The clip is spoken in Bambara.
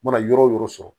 U mana yɔrɔ o yɔrɔ sɔrɔ